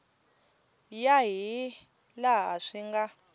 ya hi laha swi nga